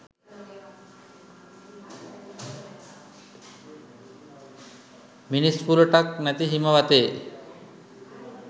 මිනිස් පුළුටක් නැති හිම වතේ